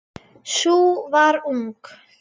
Sú var ung!